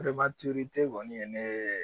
kɔni ye ne